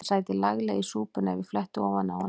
Hann sæti laglega í súpunni ef ég fletti ofan af honum.